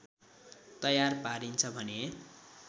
तयार पारिन्छ भने